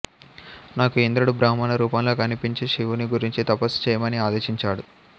నాకు ఇంద్రుడు బ్రాహ్మణ రూపంలో కనిపించి శివుని గురించి తపస్సు చెయ్యమని ఆదేశించాడు